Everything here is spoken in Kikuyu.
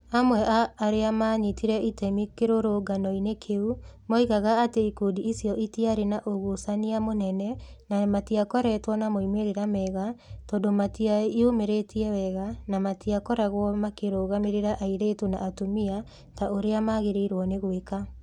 Amwe a arĩa maanyitire itemi kĩrũrũngano-inĩ kĩu moigaga atĩ ikundi icio itarĩ na ũgucania mũnene na matikoretwo na moimĩrĩro mega tondũ matiĩyumĩrĩtie wega na matikoragwo makĩrũgamĩrĩra airĩtu na atumia ta ũrĩa magĩrĩirũo nĩ gwĩka.